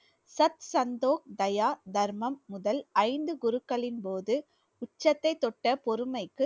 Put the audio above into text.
சட் சந்தோ தயா தர்மம் முதல் ஐந்து குருக்களின் போது உச்சத்தை தொட்ட பொறுமைக்கு